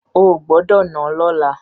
Ò gbọ́dọ̀ náà lọ́la!